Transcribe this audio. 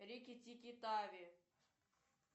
рики тики тави